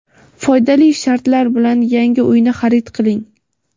Foydali shartlar bilan yangi uyni xarid qiling!.